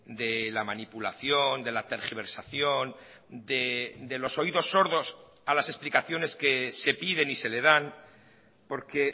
de la manipulación de la tergiversación de los oídos sordos a las explicaciones que se piden y se le dan porque